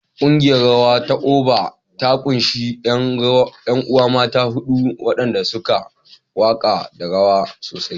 Ƙungiyar rawa ta Oba ta ƙunshi ƴan uwa mata huɗu waɗanda suke waƙa da rawa sosai.